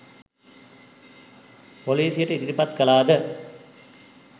පොලිසියට ඉදිරිපත් කළාද?